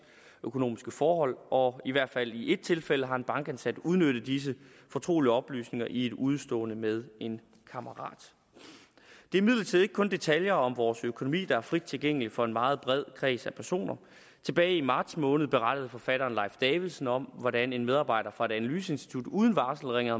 økonomiske forhold og i hvert fald i ét tilfælde har en bankansat udnyttet disse fortrolige oplysninger i et udestående med en kammerat det er imidlertid ikke kun detaljer om vores økonomi der er frit tilgængelige for en meget bred kreds af personer tilbage i marts måned berettede forfatteren leif davidsen om hvordan en medarbejder fra et analyseinstitut uden varsel ringede